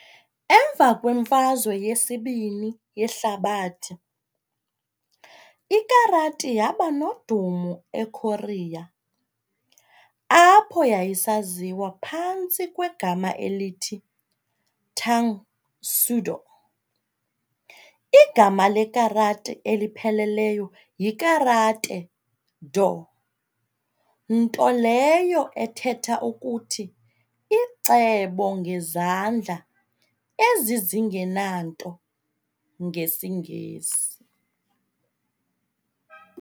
Emva kwemfazwe yesibini yehlabathi, iKarati yabanodumo eKorea, apho yayisaziwa phantsi kwegama elithi "tangsudo". igama lekarati elipheleleyo yi"Karate-do" nto leyo ethetha ukuthi "icebo ngezandla ezi zingenanto" ngesiNgesi.